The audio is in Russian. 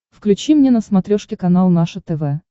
включи мне на смотрешке канал наше тв